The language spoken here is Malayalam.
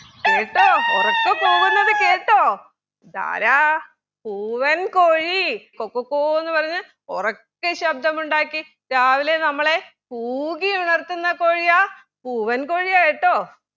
കേട്ടൊ ഉറക്കെ കൂവുന്നത് കേട്ടോ ഇതാരാ പൂവൻ കോഴി കൊക്കക്കോന്ന് പറഞ്ഞ് ഉറക്കെ ശബ്‌ദമുണ്ടാക്കി രാവിലെ നമ്മളെ കൂകി ഉണർത്തുന്ന കോഴിയാ പൂവൻ കോഴിയാ കേട്ടോ